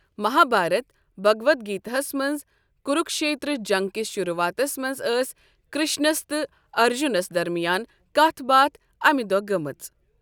مہابھارت، بھگواد گیتا ہَس منٛز، کروکشیتر جنگ کِس شروعاتس منٛز ٲس کرشنس تہٕ ارجُنَس درمیان کتھ باتھ اَمی دۄہہ گٔمٕژ۔